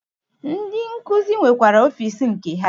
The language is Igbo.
Ndi nkuzi nwekwara ọfịs nke ha.